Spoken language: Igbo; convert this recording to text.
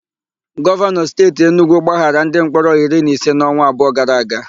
Gọvanọ Steeti Enugwu gbaghara ndimkpọrọ iri na ise n'ọnwa abụọ gara aga.